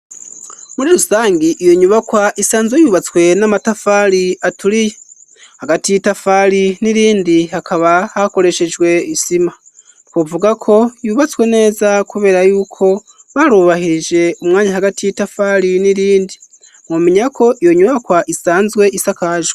Muri rusangi iyo nyubakwa isanzwe yubatswe n'amatafari aturiye, hagati y'itafari n'irindi hakaba hakoreshejwe isima. Twovuga ko yubatswe neza kubera y'uko barubahirije umwanya hagati y'itafari n'irindi, mumenya ko iyo nyubakwa isanzwe isakajwe.